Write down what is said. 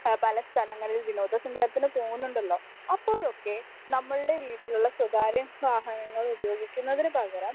speaker 1 പല സ്ഥലങ്ങളിൽ വിനോദസഞ്ചാരത്തിന് പോകുന്നുണ്ടല്ലോ അപ്പോഴൊക്കെ നമ്മൾടെ വീട്ടിലുള്ള സ്വകാര്യവാഹനങ്ങൾ ഉപയോഗിക്കുന്നതിനുപകരം